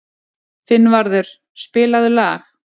Finnvarður, spilaðu lag.